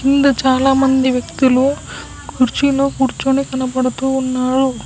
ఇందు చాలామంది వ్యక్తులు కుర్చీలో కూర్చొని కనబడుతూ ఉన్నారు.